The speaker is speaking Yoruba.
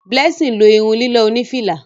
Blessing lo irun lilọ oni fìlà.